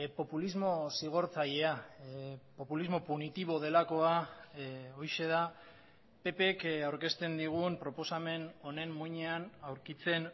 populismo zigortzailea populismo punitibo delakoa horixe da pp k aurkezten digun proposamen honen muinean aurkitzen